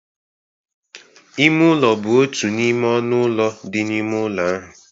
Ime ụlọ bụ otu n'ime ọnụ ụlọ dị n'ime ụlọ ahụ